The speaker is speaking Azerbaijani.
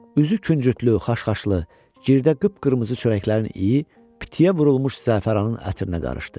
Üzü küncütlü, xaş-xaşlı, girdə qıpqırmızı çörəklərin iyi, pitiyə vurulmuş zəfəranın ətrinə qarışdı.